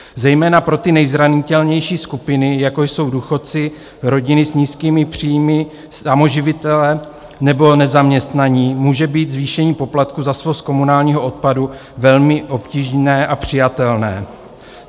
Zejména pro ty nejzranitelnější skupiny, jako jsou důchodci, rodiny s nízkými příjmy, samoživitelé nebo nezaměstnaní, může být zvýšení poplatku za svoz komunálního odpadu velmi obtížné a přijatelné.